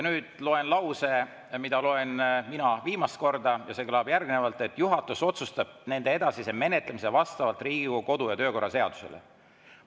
Nüüd loen lause, mida loen mina viimast korda, ja see kõlab järgnevalt: "Juhatus otsustab nende edasise menetlemise vastavalt Riigikogu kodu‑ ja töökorra seadusele.